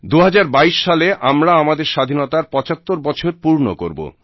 2022 সালে আমরা আমাদের স্বাধীনতার 75 বছর পূর্ণ করব